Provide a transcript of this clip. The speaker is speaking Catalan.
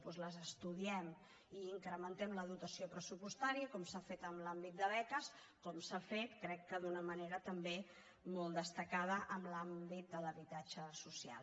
doncs les estudiem i n’incrementem la dotació pressupostària com s’ha fet en l’àmbit de beques com s’ha fet crec que d’una manera també molt destacada en l’àmbit de l’habitatge social